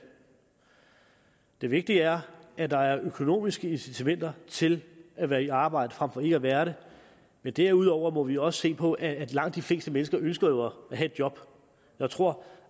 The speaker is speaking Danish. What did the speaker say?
det vigtige er at der er økonomiske incitamenter til at være i arbejde frem for ikke at være det men derudover må vi også se på at at langt de fleste mennesker jo ønsker at have et job jeg tror